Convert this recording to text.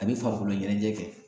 A bi farikolo ɲɛnajɛ kɛ